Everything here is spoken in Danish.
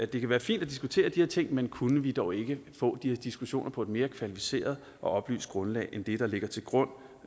det kan være fint at diskutere de her ting men kunne vi dog ikke få de diskussioner på et mere kvalificeret og oplyst grundlag end det der ligger til grund